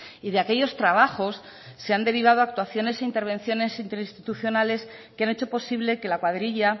y de aquellos trabajos se han derivado actuaciones e intervenciones interinstitucionales que han hecho posible que la cuadrilla